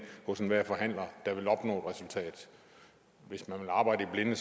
hos enhver forhandler der vil opnå et resultat hvis man vil arbejde i blinde